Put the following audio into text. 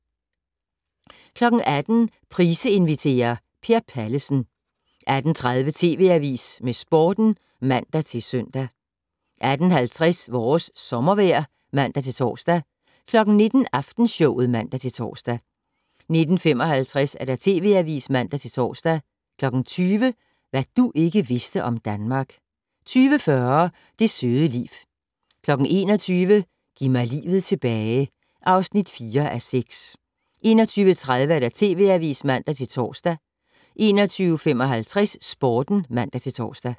18:00: Price inviterer - Per Pallesen 18:30: TV Avisen med Sporten (man-søn) 18:50: Vores sommervejr (man-tor) 19:00: Aftenshowet (man-tor) 19:55: TV Avisen (man-tor) 20:00: Hvad du ikke vidste om Danmark 20:40: Det søde liv 21:00: Giv mig livet tilbage (4:6) 21:30: TV Avisen (man-tor) 21:55: Sporten (man-tor)